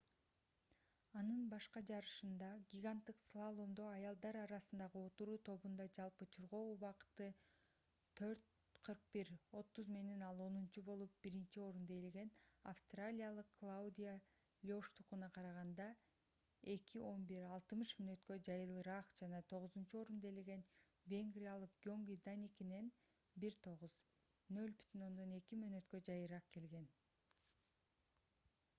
анын башка жарышында гиганттык слаломдо аялдар арасындагы отуруу тобунда жалпы чуркоо убакыты 4:41.30 менен ал онунчу болуп биринчи орунду ээлеген австралиялык клаудиа лёштукуна караганда 2:11.60 мүнөткө жайыраак жана тогузунчу орунду ээлеген венгриялык гёнги даникинен 1:09.02 мүнөткө жайыраак келген